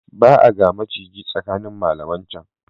Ba a ga maciji tsakanin malaman can.